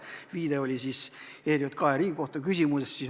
See viide puudutas siis ERJK ja Riigikohtu ülesandeid.